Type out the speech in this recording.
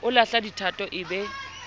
o lahla dithatho e be